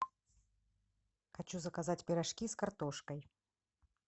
хочу заказать пирожки с картошкой